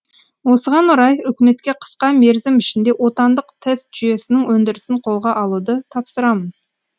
осыған орай үкіметке қысқа мерзім ішінде отандық тест жүйесінің өндірісін қолға алуды тапсырамын